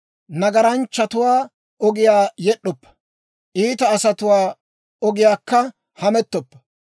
Nagaranchchatuwaa ogiyaa yed'd'oppa; iita asatuwaa ogiyaankka hamettoppa;